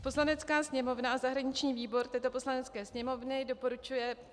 Poslanecká sněmovna a zahraniční výbor této Poslanecké sněmovny doporučuje